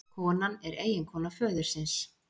Konan er eiginkona föðursins